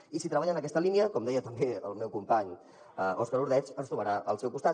i si treballa en aquesta línia com deia també el meu company òscar ordeig ens trobarà al seu costat